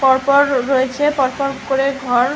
পরপর রয়েছে পরপর করে ঘর।